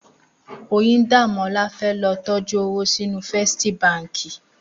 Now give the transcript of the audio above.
Oyindamola fè lò tòjú ówó sinú Fèstí bànkí